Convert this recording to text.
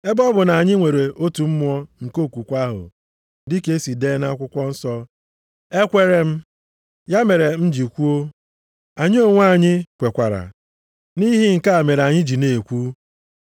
Ebe ọ bụ na anyị nwere otu mmụọ nke okwukwe ahụ, dịka e si dee nʼakwụkwọ nsọ, “Ekweere m, ya mere m ji kwuo.” + 4:13 \+xt Abụ 116:10\+xt* Anyị onwe anyị kwekwara, nʼihi nke a mere anyị ji na-ekwu,